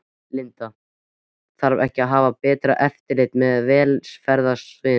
Linda: Þarf ekki að hafa betra eftirlit með velferðarsviðinu?